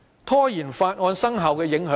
拖延《條例草案》生效有何影響？